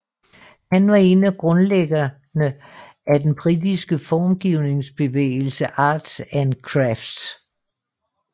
Han var en af grundlæggerne af den britiske formgivningsbevægelse Arts and Crafts